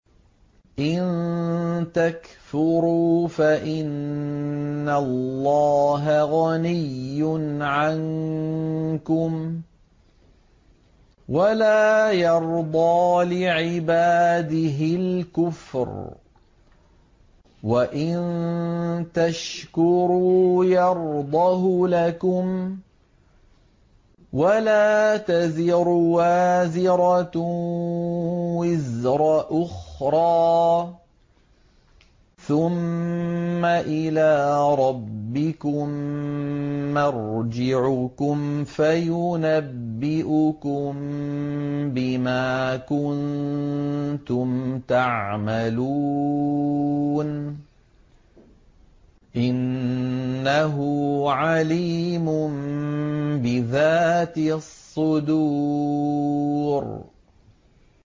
إِن تَكْفُرُوا فَإِنَّ اللَّهَ غَنِيٌّ عَنكُمْ ۖ وَلَا يَرْضَىٰ لِعِبَادِهِ الْكُفْرَ ۖ وَإِن تَشْكُرُوا يَرْضَهُ لَكُمْ ۗ وَلَا تَزِرُ وَازِرَةٌ وِزْرَ أُخْرَىٰ ۗ ثُمَّ إِلَىٰ رَبِّكُم مَّرْجِعُكُمْ فَيُنَبِّئُكُم بِمَا كُنتُمْ تَعْمَلُونَ ۚ إِنَّهُ عَلِيمٌ بِذَاتِ الصُّدُورِ